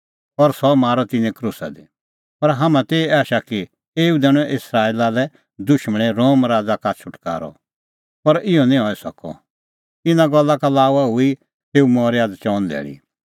पर हाम्हां ती एही आशा कि एऊ दैणअ इस्राएला लै दुशमण रोम राज़ा का छ़ुटकारअ पर इहअ निं हई सकअ इना गल्ला का लाऊआ हुई तेऊ मरी हई आझ़ चअन धैल़ी